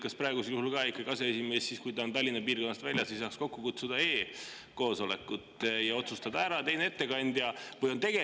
Kas praegusel juhul ikkagi aseesimees, kui ta on Tallinna piirkonnast väljas, ei saaks kokku kutsuda e‑koosolekut ja otsustada ära, kes on ettekandja?